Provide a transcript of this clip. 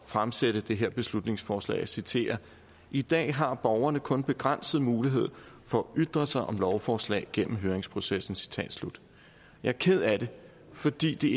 fremsætte det her beslutningsforslag og jeg citerer i dag har borgere kun begrænset mulighed for at ytre sig om lovforslag gennem høringsprocessen jeg er ked af det fordi det